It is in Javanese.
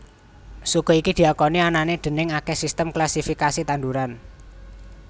Suku iki diakoni anané déning akèh sistem klasifikasi tanduran